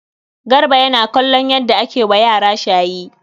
Garba yana kallon yadda ake yi wa yara shayi.